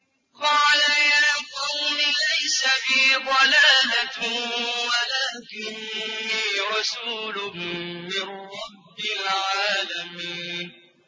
قَالَ يَا قَوْمِ لَيْسَ بِي ضَلَالَةٌ وَلَٰكِنِّي رَسُولٌ مِّن رَّبِّ الْعَالَمِينَ